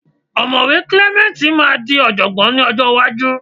Ọ̀mọ̀wé Clement máa di ọ̀jọ̀gbọ́n lọ́jọ́ iwájú